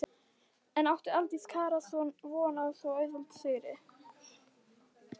En átti Aldís Kara von á svo auðveldum sigri?